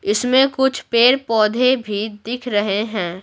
इसमें कुछ पेड़-पौधे भी दिख रहे हैं।